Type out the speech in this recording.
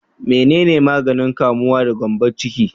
Menene maganin kamuwa da gyambon ciki?